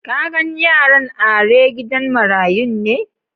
Ka gan yaran are gidan marayun ne?